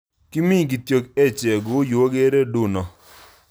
Kimi kityo echek kou yuekere dunno